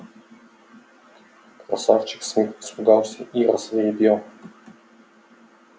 красавчик смит испугался и рассвирепел